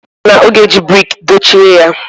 Ọ sị na ọ ga-eji brik dochie ya.